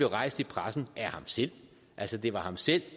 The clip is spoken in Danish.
rejst i pressen af ham selv altså det var ham selv